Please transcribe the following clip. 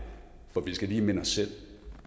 for vi skal lige minde os selv